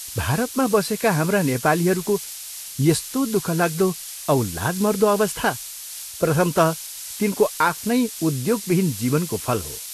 भारतमा बसेका हाम्रा नेपालीहरूको यस्तो दुःखलाग्दो औ लाजमर्दो अवस्था प्रथमतः तिनको आफ्नै उद्योगविहीन जीवनको फल हो।